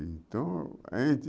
Então, a gente